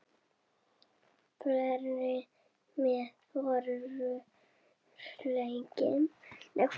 Fleiri met voru slegin.